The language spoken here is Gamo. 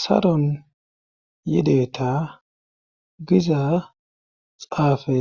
saron yideta giza xaafe